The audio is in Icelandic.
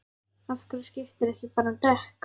Af hverju skiptirðu ekki bara um dekk?